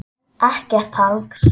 Ekkert hangs!